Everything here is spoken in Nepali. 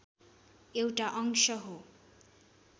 एउटा अंश हो